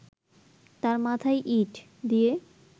তার মাথায় ইট দিয়ে